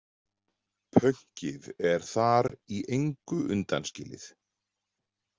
Pönkið er þar í engu undanskilið.